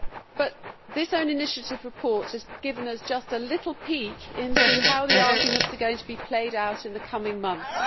But this own initiative report has given us just a little peek into how the arguments are going to be played out in the coming months.